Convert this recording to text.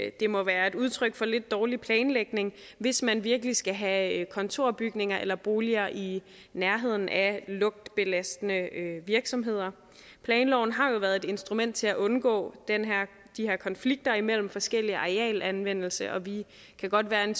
at det må være et udtryk for lidt dårlig planlægning hvis man virkelig skal have kontorbygninger eller boliger i nærheden af lugtbelastende virksomheder planloven har jo været et instrument til at undgå de her konflikter imellem forskellige arealanvendelser og vi kan godt være en